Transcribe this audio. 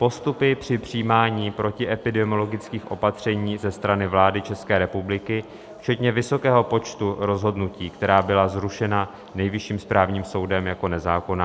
postupy při přijímání protiepidemiologických opatření ze strany vlády České republiky včetně vysokého počtu rozhodnutí, která byla zrušena Nejvyšším správním soudem jako nezákonná,